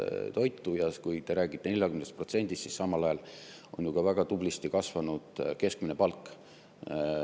Ja kui te räägite 40%, siis samal ajal on ju ka väga tublisti kasvanud keskmine palk.